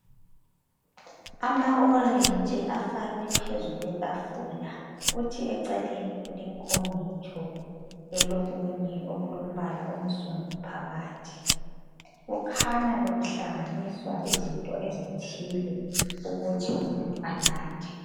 Amaorenji afakwe phezu kwetafula kuthi eceleni kulenkomitsho elokulombala onsundu phakathi kukhanya bekuhlanganiswa izinto ezithile ukuthi umuntu anathe.